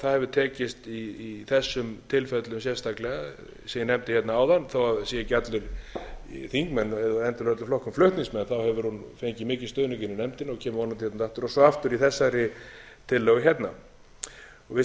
það hefur tekist í þessum tilfellum sérstaklega sem ég nefndi hérna áðan þó það séu ekki allir þingmenn xxxx úr öllum flokkum flutningsmenn hefur hún fengið mikinn stuðning inni í nefndinni og kemur vonandi hérna aftur og svo aftur í þessari tillögu hérna við